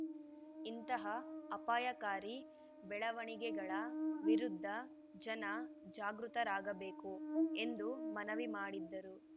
ಇಂತಹ ಅಪಾಯಕಾರಿ ಬೆಳವಣಿಗೆಗಳ ವಿರುದ್ಧ ಜನ ಜಾಗೃತರಾಗಬೇಕು ಎಂದು ಮನವಿ ಮಾಡಿದರು